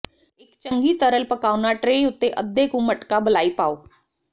ਇੱਕ ਚੰਗੀ ਤਰਲ ਪਕਾਉਣਾ ਟ੍ਰੇ ਉੱਤੇ ਅੱਧੇ ਕੁ ਮਟਕਾ ਬਲਾਈ ਪਾਓ